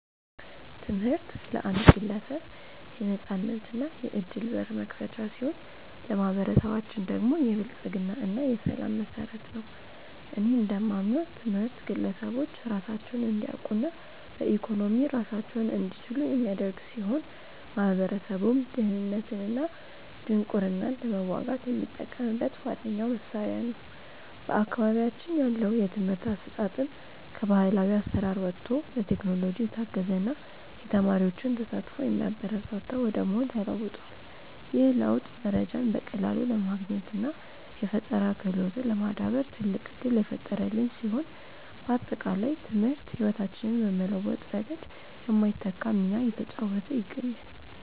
ትምህርት ለአንድ ግለሰብ የነፃነትና የዕድል በር መክፈቻ ሲሆን፣ ለማኅበረሰባችን ደግሞ የብልጽግና እና የሰላም መሠረት ነው። እኔ እንደማምነው ትምህርት ግለሰቦች ራሳቸውን እንዲያውቁና በኢኮኖሚ ራሳቸውን እንዲችሉ የሚያደርግ ሲሆን፣ ማኅበረሰቡም ድህነትንና ድንቁርናን ለመዋጋት የሚጠቀምበት ዋነኛው መሣሪያ ነው። በአካባቢያችን ያለው የትምህርት አሰጣጥም ከባሕላዊ አሠራር ወጥቶ በቴክኖሎጂ የታገዘና የተማሪዎችን ተሳትፎ የሚያበረታታ ወደ መሆን ተለውጧል። ይህ ለውጥ መረጃን በቀላሉ ለማግኘትና የፈጠራ ክህሎትን ለማዳበር ትልቅ ዕድል የፈጠረልን ሲሆን፣ ባጠቃላይ ትምህርት ሕይወታችንን በመለወጥ ረገድ የማይተካ ሚና እየተጫወተ ይገኛል።